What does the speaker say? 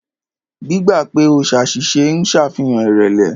Gbígbà pè o ṣàṣìṣe ń ṣàfihàn ìrẹ̀lẹ̀.